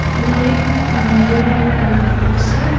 उधर एक मिरर है बड़ा बड़ा सा--